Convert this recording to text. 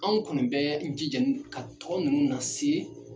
An kɔni bɛ jija ka tɔ nunnu na se